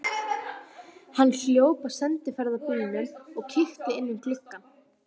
Hann hljóp að sendiferðabílnum og kíkti inn um glugga.